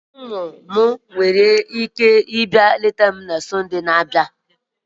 Ụmụ m nwere ike ịba leta gị na Sọnde na-abịa?